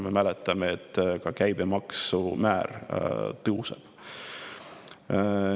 Me mäletame, et ka käibemaksumäär tõuseb.